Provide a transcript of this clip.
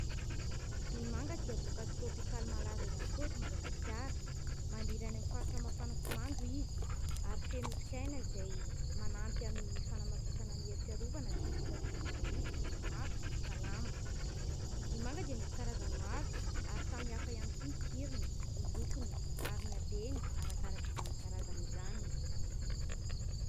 Ny manga dia voankazo tiraopikaly malaza ihany koa eto Madagasikara. Maniry any amin'ny faritra mafana sy mando izy ary feno otrikaina izay manampy amin'ny fanamafisana ny hery fiarovana sy ny fitazomana hoditra sy maso ho salama. Ny manga dia misy karazany maro ary samihafa ihany koa ny tsirony, ny lokony ary ny habeny arakaraka izany karazany izany.